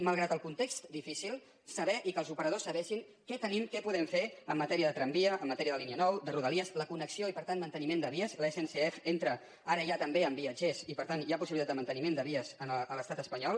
malgrat el context difícil saber i que els operadors sabessin què tenim què podem fer en matèria de tramvia en matèria de línia nou de rodalies la connexió i per tant manteniment de vies l’sncf entra ara ja també amb viatgers i per tant hi ha possibilitat de manteniment de vies a l’estat espanyol